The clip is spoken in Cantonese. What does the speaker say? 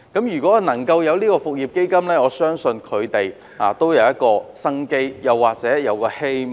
如果有復業基金，我相信他們便會有一線生機、一線希望。